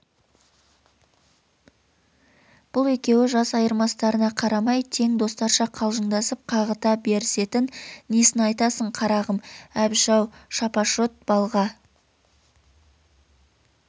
бұл екеуі жас айырмыстарына қарамай тең достарша қалжындасып қағыта берісетін несін айтасың қарағым әбіш-ау шапашот балға